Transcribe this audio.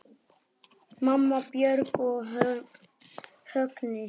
Mamma, Björk og Högni.